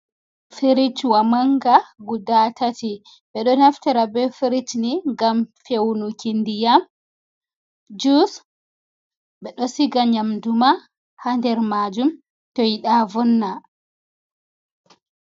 Firijiiwa mannga guda tati, ɓe ɗo naftira be firij ni ngam fewnuki ndiyam, juus , ɓe ɗo siga nyamnduma haa nder maajum to ɓe yiɗa vonna.